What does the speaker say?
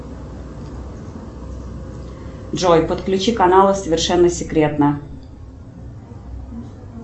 джой подключи каналы совершенно секретно